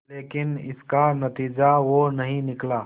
लेकिन इसका नतीजा वो नहीं निकला